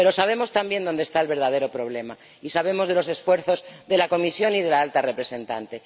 Pero sabemos también dónde está el verdadero problema y sabemos de los esfuerzos de la Comisión y de la Alta Representante.